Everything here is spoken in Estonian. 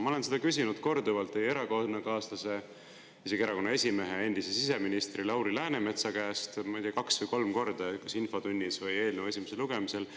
Ma olen seda korduvalt küsinud teie erakonnakaaslase, isegi erakonna esimehe, endise siseministri Lauri Läänemetsa käest, ma ei tea, kaks või kolm korda, kas infotunnis või eelnõu esimesel lugemisel.